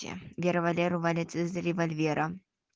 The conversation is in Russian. те вера валеру валит из револьвера